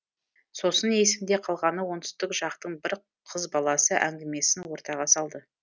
сосын есімде қалғаны оңтүстік жақтың бір қыз баласы әңгімесін ортаға салды